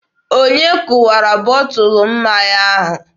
Onye kụwara bọtụlụ mmanya ahụ?